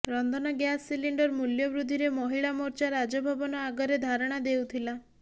ରନ୍ଧନ gas cylinder ମୂଲ୍ୟ ବୃଦ୍ଧିରେ ମହିଳା ମୋର୍ଚ୍ଚା ରାଜଭବନ ଆଗରେ ଧାରଣା ଦେଉଥିଲା